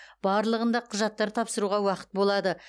барлығында құжаттар тапсыруға уақыт болады